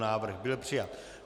Návrh byl přijat.